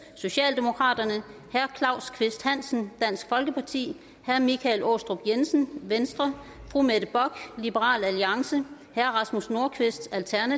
herre claus kvist hansen herre michael aastrup jensen fru mette bock herre rasmus nordqvist